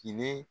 Fini